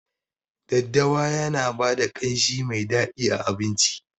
Daddawa Yana bada kanshi Mai dadi a abinci.